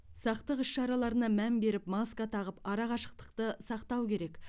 сақтық іс шараларына мән беріп маска тағып арақашықтықты сақтау керек